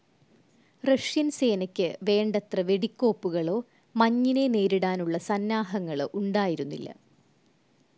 Russian സേനക്ക് വേണ്ടത്ര വെടിക്കോപ്പുകളോ മഞ്ഞിനെ നേരിടാനുള്ള സന്നാഹങ്ങളോ ഉണ്ടായിരുന്നില്ല.